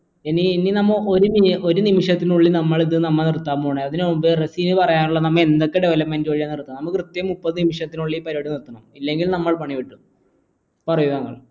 ഇനി നമ്മ ഒരു നിമിഷത്തിനുള്ളിൽ നമ്മൾ ഇത് നമ്മ നിർത്താൻ പോവുയാണ് അതിന് മുമ്പ് റസിന് പറയാനുള്ള നമ്മ എന്തൊക്കെ development വഴി നടത്ത നമ്മൾ കൃത്യം മുപ്പത് നിമിഷത്തിനുള്ളിൽ ഈ പരിവാദ്യ നിർത്തണ് ഇല്ലെങ്കി നമ്മൾ പണി കിട്ടും പറയു